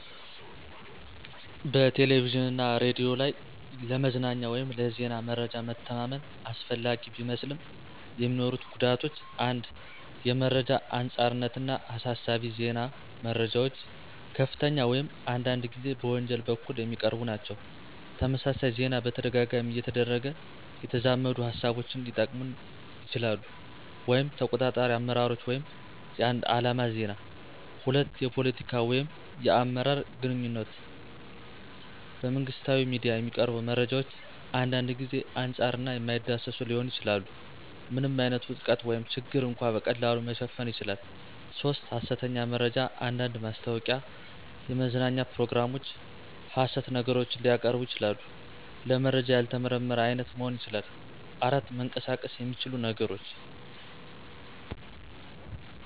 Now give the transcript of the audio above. በቴሌቪዥን እና ሬዲዮ ላይ ለመዝናኛ ወይም ለዜና መረጃ መተማመን አስፈላጊ ቢመስልም፣ የሚኖሩት ጉዳቶች 1. የመረጃ አንጻርነት እና አሳሳቢ ዜና - መረጃዎች ከፍተኛ ወይም አንዳንድ ጊዜ በወንጀል በኩል የሚቀርቡ ናቸው። - ተመሳሳይ ዜና በተደጋጋሚ እየተደረገ የተዛመዱ ሃሳቦችን ሊጠቅመን ይችላሉ (ተቆጣጣሪ አመራሮች ወይም የአንድ ዓላማ ዜና)። 2. የፖለቲካ ወይም የአመራር አግኝቶች - በመንግሥታዊ ሚዲያ የሚቀርቡ መረጃዎች አንዳንድ ጊዜ አንጻር እና የማይዳሰስ ሊሆኑ ይችላሉ። ምንም ዓይነት ውድቀት ወይም ችግር እንኳ በቀላሉ መሸፈን ይችላል። 3. ሐሰተኛ መረጃ አንዳንድ ማስታወቂያ፣ የመዝናኛ ፕሮግራሞች ሐሰት ነገሮችን ሊያቀርቡ ይችላሉ። - ለመረጃ ያልተመረመረ አይነት መሆን ይችላል። 4. መንቀሳቀስ የሚችሉ ነገሮች